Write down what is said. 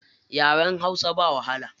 Yaren hausa ba wahala.